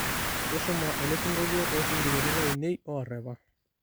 tushuma elesingolio toosingolioitin lainei oorepa